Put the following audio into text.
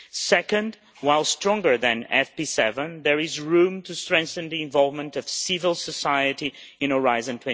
Secondly, while stronger than FP7, there is room to strengthen the involvement of civil society in Horizon